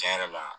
Tiɲɛ yɛrɛ la